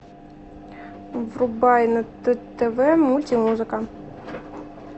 врубай на тв мультимузыка